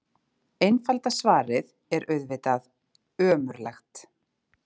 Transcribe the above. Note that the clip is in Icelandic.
Einfalda svarið er auðvitað: ömurlegt.